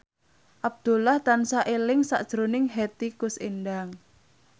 Abdullah tansah eling sakjroning Hetty Koes Endang